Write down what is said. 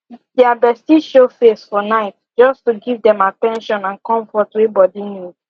dia bestie show face for night just to give dem at ten tion and comfort wey bodi need